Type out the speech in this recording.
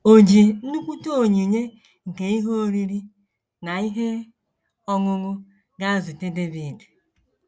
O ji nnukwute onyinye nke ihe oriri na ihe ọṅụṅụ gaa zute Devid.